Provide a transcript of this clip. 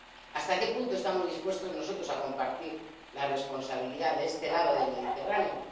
¿Hasta qué punto estamos dispuestos nosotros a compartir la responsabilidad de este lado del Mediterráneo?